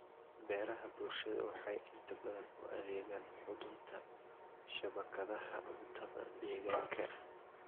Beeraha bulshadu waxay inta badan u adeegaan xudunta shabakadaha cuntada deegaanka.